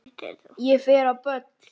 Hún fer á böll!